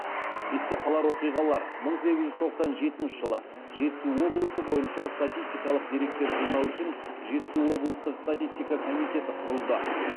есте қалар оқиғалар мың сегіз жүз тоқсан жетінші жылы жетісу облысы бойынша статистикалық деректер жинау үшін жетісу облыстық статистика комитеті құрылды